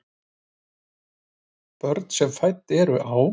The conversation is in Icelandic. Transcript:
Börn sem fædd eru á